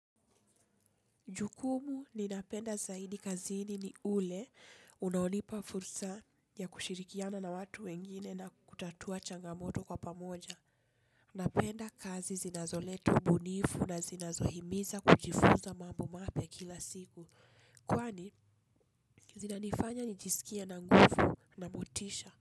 Jukumu ninapenda zaidi kazini ni ule unaonipa fursa ya kushirikiana na watu wengine na kutatua changamoto kwa pamoja. Napenda kazi zinazoleta ubunifu na zinazohimiza kujifunza mambo mapya kila siku. Kwani zinanifanya nijisikie na nguvu na motisha.